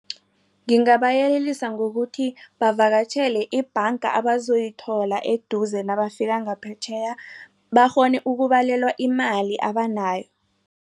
Ngingabayelelisa ngokuthi bavakatjhele ibhanga abazayithola eduze nabafika ngaphetjheya bakghone ukubalelwa imali abanayo.